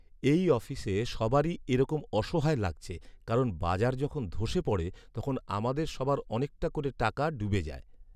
এই অফিসে সবারই এরকম অসহায় লাগছে কারণ বাজার যখন ধ্বসে পড়ে, তখন আমাদের সবার অনেকটা করে টাকা ডুবে যায়।